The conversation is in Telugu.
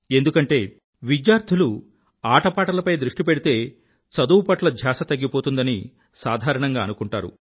ఎందుకంటే విద్యార్థులు ఆటపాటలపై దృష్టి పెడితే చదువు పట్ల ధ్యాస తగ్గిపోతుందని సాధారణంగా అనుకుంటారు